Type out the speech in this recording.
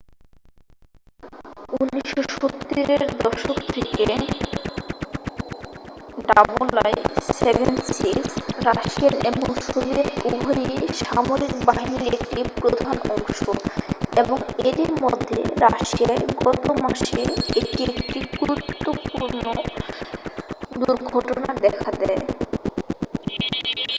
1970 এর দশক থেকে il-76 রাশিয়ান এবং সোভিয়েত উভয়ই সামরিক বাহিনীর একটি প্রধান অংশ এবং এরই মধ্যে রাশিয়ায় গত মাসে এটি একটি গুরুতর দুর্ঘটনা দেখা যায়